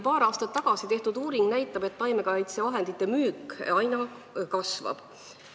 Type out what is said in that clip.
Paar aastat tagasi tehtud uuring näitab, et taimekaitsevahendite müük aina kasvab.